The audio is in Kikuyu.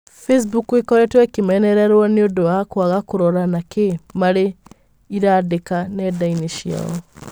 Bicimbuku ĩkorete ĩkĩmenererwo nĩũndu wa kwaga kũrora na ki marĩ ĩramdĩka nendaĩnĩ cĩayo.